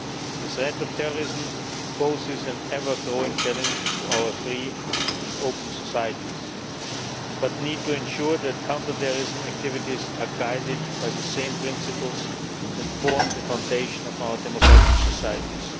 The threat of terrorism poses an ever growing challenge to our free and open societies, but we need to ensure that counter terrorism activities are guided by the same principles that formed the foundation of our democratic societies.